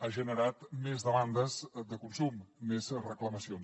ha generat més demandes de consum més reclamacions